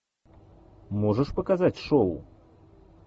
можешь показать шоу